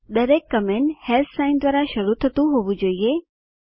દરેક comment sign દ્વારા શરુ થતું હોવું જોઈએ